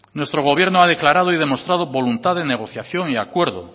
nuestro gobierno ha declarado y demostrado voluntad de negociación y acuerdo